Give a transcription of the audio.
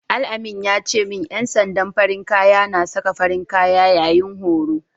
Al-amin ya ce min ƴan sandan farin kaya na saka farin kaya yayin horo.